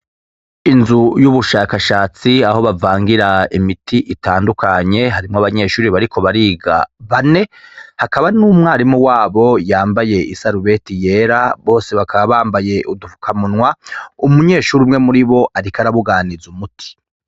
Inzu y'ubushakashatsi aho bavangira imiti itandukanye harimwo abanyeshure bariko bariga bane hakaba n’umwarimu wabo yambaye isarubeti yera bose bakaba bambaye udufukamunwa umunyeshure umwe muribo ariko arabuganiza umuti.